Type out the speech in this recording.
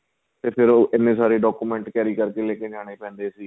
ਤੇ ਫ਼ੇਰ ਉਹ ਐਨੇ ਸਾਰੇ document carry ਕਰਕੇ ਲੈਕੇ ਜਾਣੇ ਪੈਂਦੇ ਸੀ